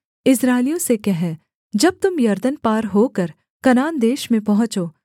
इस्राएलियों से कह जब तुम यरदन पार होकर कनान देश में पहुँचो